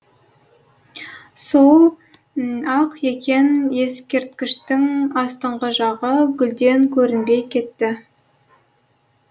сол ақ екен ескерткіштің астыңғы жағы гүлден көрінбей кетті